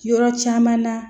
Yɔrɔ caman na